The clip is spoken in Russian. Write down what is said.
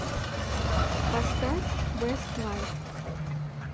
поставь вэстлайф